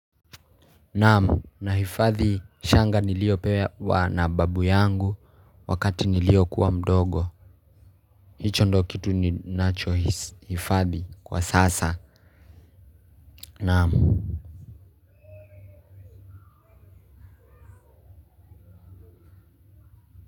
Naam, nahifathi shanga niliyopewa na babu yangu wakati niliokuwa mdogo, hicho ndo kitu ninachohifathi kwa sasa, naam.